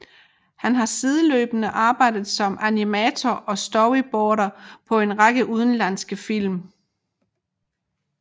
Han har sideløbende arbejdet som animator og storyboarder på en række udenlandske film